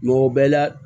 Mɔgɔ bɛɛ la